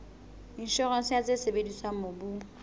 inshorense ya tse sebediswang mobung